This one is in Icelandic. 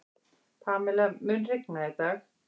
Pamela, mun rigna í dag?